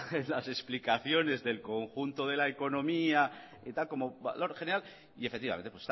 en las explicaciones del conjunto de la economía como valor general y efectivamente